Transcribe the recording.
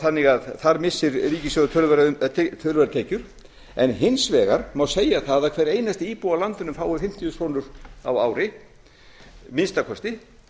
þannig að þar missir ríkissjóður töluverðar tekjur en hins vegar má segja það að hver einasti íbúi á landinu fái fimmtíu þúsund krónur á ári að minnsta kosti